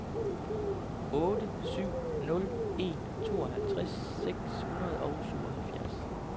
otte syv nul en tooghalvtreds seks hundrede og syvoghalvfjerds